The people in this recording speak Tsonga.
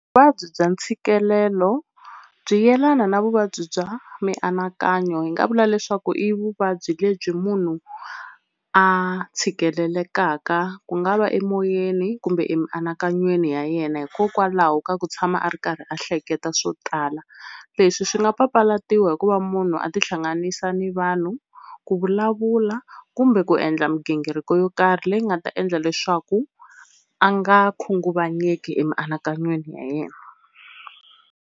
Vuvabyi bya ntshikelelo byi yelana na vuvabyi bya mianakanyo hi nga vula leswaku i vuvabyi lebyi munhu a tshikelelekaka ku nga va emoyeni kumbe emianakanyweni ya yena, hikokwalaho ka ku tshama a ri karhi a hleketa swo tala. Leswi swi nga papalatiwa hikuva munhu a tihlanganisa ni vanhu, ku vulavula kumbe ku endla migingiriko yo karhi leyi nga ta endla leswaku a nga khunguvanyeki emianakanyweni ya yena.